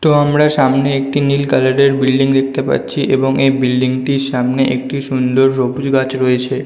তো আমরা সামনে একটি নীল কালার -এর বিল্ডিং দেখতে পাচ্ছি এবং এই বিল্ডিং টির সামনে একটি সুন্দর বকুল গাছ রয়েছে।